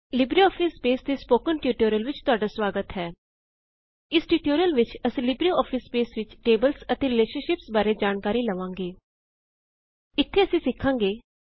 Libre office Base ਦੇ spoken tutorial ਵਿੱਚ ਤੁਹਾਡਾ ਸਵਾਗਤ ਹੈ ਇਸ ਟਯੂਟੋਰਿਯਲ ਵਿੱਚ ਅਸੀ ਲਿਬ੍ਰ ਔਫਿਸ ਬੇਸ ਵਿੱਚ ਟੇਬਲਸ ਅਤੇ ਰਿਲੇਸ਼ਨਸ਼ਿਪਸ ਬਾਰੇ ਜਾਨਕਾਰੀ ਲਵਾਂ ਗੇ ਇੱਥੇ ਅਸੀ ਸਿੱਖਾੰਗੇ 1